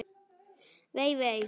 Vei, vei, vei.